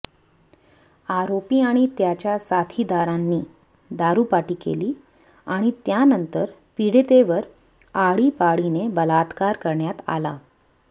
आरोपी आणि त्याच्या साथीदारांनी दारू पार्टी केली आणि त्यानंतर पीडितेवर आळीपाळीने बलात्कार करण्यात आला